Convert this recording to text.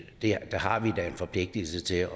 der har vi da en forpligtelse til at